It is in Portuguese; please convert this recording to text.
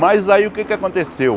Mas aí o que é que aconteceu?